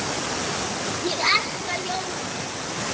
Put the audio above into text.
Ég elska jólin!